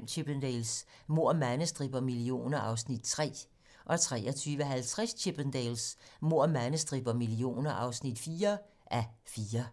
23:05: Chippendales: Mord, mandestrip og millioner (3:4) 23:50: Chippendales: Mord, mandestrip og millioner (4:4)